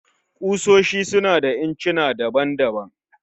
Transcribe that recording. Ƙusoshi su na da incina daban-daban